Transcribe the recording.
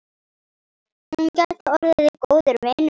Hún gæti orðið góður vinur.